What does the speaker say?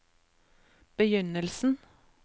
begynnelsen